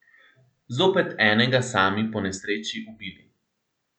Zopet enega sami po nesreči ubili.